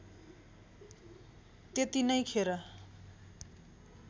त्यति नै खेर